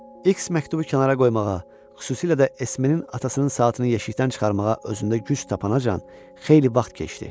X məktubu kənara qoymağa, xüsusilə də Esmenin atasının saatını yeşikdən çıxarmağa özündə güc tapana can xeyli vaxt keçdi.